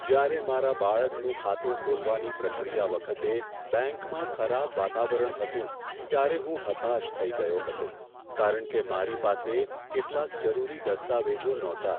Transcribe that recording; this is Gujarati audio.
જ્યારે મારા બાળકનું ખાતું ખોલવાની પ્રક્રિયા વખતે બેંકમાં ખરાબ વાતાવરણ હતું ત્યારે હું હતાશ થઈ ગયો હતો કારણ કે મારી પાસે કેટલાક જરૂરી દસ્તાવેજો નહોતા.